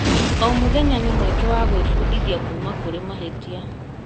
O mũthenya nĩ mweke wa gwĩbundithia kuuma kũrĩ mahĩtia.